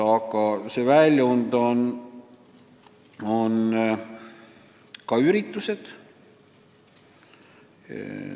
Aga väljundiks on ka mitmesugused üritused.